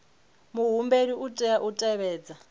muhumbeli u tea u tevhedza